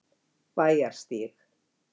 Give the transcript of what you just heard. Bæjarstíg